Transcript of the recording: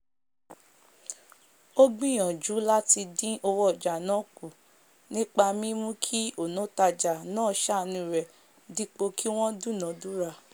ó gbìyànjú làtidìn owó ojà náà kù nípa mímú kí ònòtajà nàá sàànú rè dípò kí wón dúnà- dúrà